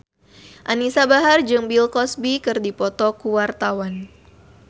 Anisa Bahar jeung Bill Cosby keur dipoto ku wartawan